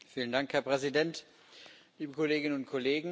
Herr Präsident, liebe Kolleginnen und Kollegen!